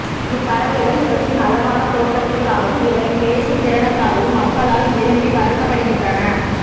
இப்பறவைகள் இவற்றின் அழகான தோற்றத்திற்காகவும் இவற்றின் பேசும் திறனுக்காகவும் மக்களால் விரும்பி வளர்க்கப்படுகின்றன